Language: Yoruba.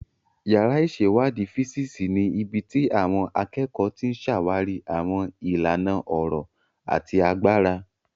Yàrá ìṣèwádìí físíìsì ni ibi tí àwọn akẹ́kọ̀ọ́ ti ń ṣàwárí àwọn ìlànà ọ̀rọ̀ àti agbára.